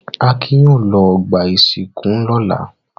Akin yóò lọ ọgbà-ìsìnkú lọ́la!